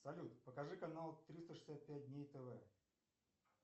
салют покажи канал триста шестьдесят пять дней тв